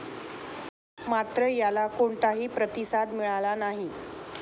मात्र, याला कोणताही प्रतिसाद मिळाला नाही.